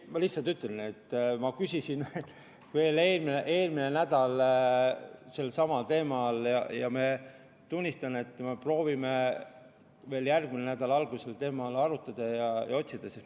Ma lihtsalt ütlen, et ma küsisin veel eelmisel nädalal samal teemal ja me proovime veel järgmise nädala alguses sel teemal arutada ja lahendusi otsida.